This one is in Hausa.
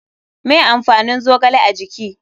Me amfanin zogale a jiki?